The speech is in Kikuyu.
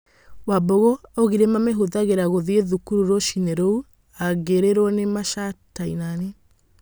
Wambugu augĩre mamĩhũthagĩra gũthĩĩ thũkuru rũciinĩ rũu aingĩrirwo ni macaitanĩ.